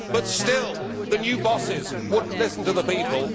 But, still, the new bosses would not listen to the people.